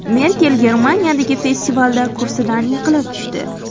Merkel Germaniyadagi festivalda kursidan yiqilib tushdi.